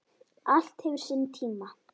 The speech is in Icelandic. Allt hefur sinn tíma